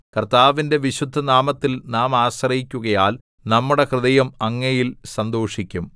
കർത്താവിന്റെ വിശുദ്ധനാമത്തിൽ നാം ആശ്രയിക്കുകയാൽ നമ്മുടെ ഹൃദയം അങ്ങയിൽ സന്തോഷിക്കും